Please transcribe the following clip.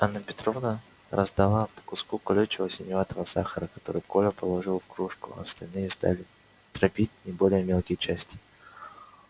анна петровна раздала по куску колючего синеватого сахара который коля положил в кружку а остальные стали дробить на более мелкие части